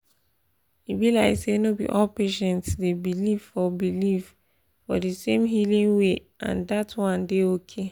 e be like say no be all patients dey believe for believe for di same healing way and dat one dey okay.